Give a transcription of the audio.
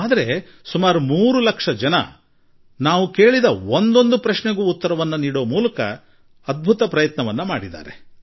ಆದರೆ 3 ಲಕ್ಷ ಜನರು ಒಂದೊಂದು ಪ್ರಶ್ನೆಗೂ ಉತ್ತರ ನೀಡಲು ಪ್ರಯತ್ನಿಸಿದ್ದಾರೆ